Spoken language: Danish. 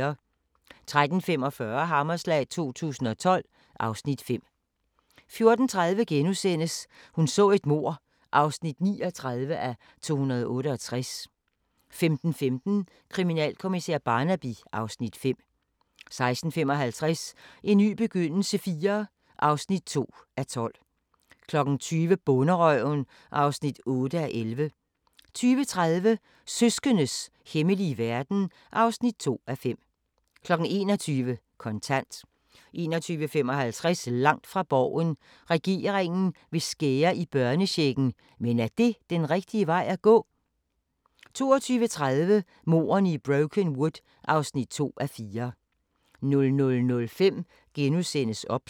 13:45: Hammerslag 2012 (Afs. 5) 14:30: Hun så et mord (39:268)* 15:15: Kriminalkommissær Barnaby (Afs. 5) 16:55: En ny begyndelse IV (2:12) 20:00: Bonderøven (8:11) 20:30: Søskendes hemmelige verden (2:5) 21:00: Kontant 21:55: Langt fra Borgen: Regeringen vil skære i børnechecken, men er det den rigtige vej at gå? 22:30: Mordene i Brokenwood (2:4) 00:05: OBS *